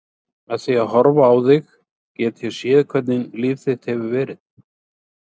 Með því að horfa á þig get ég séð hvernig líf þitt hefur verið.